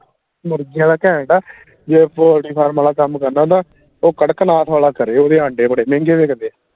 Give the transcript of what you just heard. ਮੁਰਗੀਆਂ ਵਾਲਾ ਘੈਂਟ ਆ ਜੇ pottery farm ਵਾਲਾ ਕੰਮ ਕਰਨਾ ਦਾ ਉਹ ਕਰਕਨਾਥ ਵਾਲਾ ਕਰੇ ਓਹਦੇ ਆਂਡੇ ਬੜੇ ਮਹਿੰਗੇ ਵਿਕਦੇ